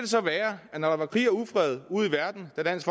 så være at når der var krig og ufred ude i verden da dansk